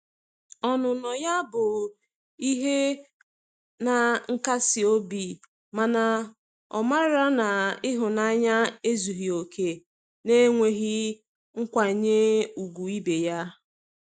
Ọnụnọ ya bụ ihe na nkasi obi mana o mara na ihunanya ezughi oke na-enweghi nkwanye ugwu ibe ya.